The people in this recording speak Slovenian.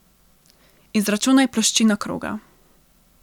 Izračunaj ploščino kroga.